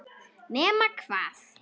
Nema hvað!